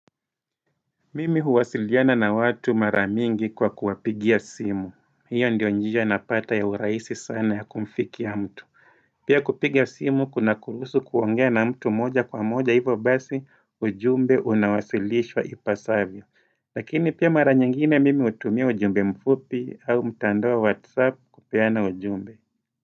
Mimi huwasiliana na watu mara mingi kwa kuwapigia simu, hiyo ndiyo njia napata ya uraisi sana ya kumfikia mtu Pia kupiga simu kunakuruhusu kuongea na mtu moja kwa moja hivyo basi ujumbe unawasilishwa ipasavyo Lakini pia mara nyingine mimi utumia ujumbe mfupi au mtandao wa whatsapp kupeana ujumbe.